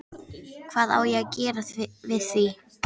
Hvað á ég að gera við því?